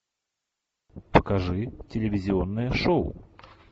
покажи телевизионное шоу